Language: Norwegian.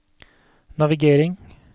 navigering